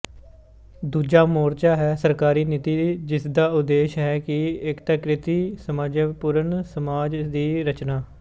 ਦੂਜਾ ਮੋਰਚਾ ਹੈ ਸਰਕਾਰੀ ਨੀਤੀ ਜਿਸਦਾ ਉਦੇਸ਼ ਹੈ ਇੱਕ ਏਕੀਕ੍ਰਿਤ ਸਾਮਞਜਸਿਅਪੂਰਣ ਸਮਾਜ ਦੀ ਰਚਨਾ